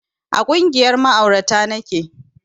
A ƙungiyar ma'aurata nake